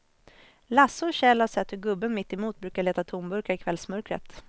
Lasse och Kjell har sett hur gubben mittemot brukar leta tomburkar i kvällsmörkret.